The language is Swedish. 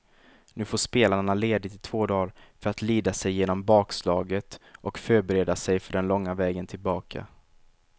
Nu får spelarna ledigt i två dagar för att lida sig igenom bakslaget och förbereda sig för den långa vägen tillbaka.